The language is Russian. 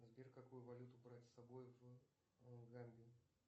сбер какую валюту брать с собой в гамбию